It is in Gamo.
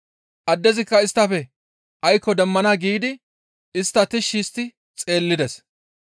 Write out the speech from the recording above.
Addezikka isttafe aykko demmana giidi istta tishshi histti xeellides.